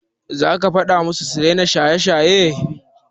Za ki faɗa musu su daina shaye-shaye?